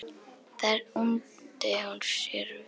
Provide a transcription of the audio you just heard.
Þar undi hún sér vel.